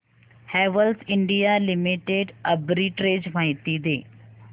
Havells India limited arbitrage माहिती दे